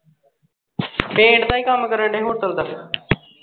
paint ਦਾ ਈ ਕੰਮ ਕਰਦੇ hotel ਦਾ।